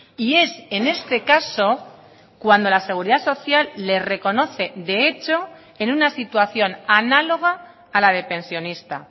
y es en este caso cuando la seguridad social le reconoce de hecho en una situación análoga a la de pensionista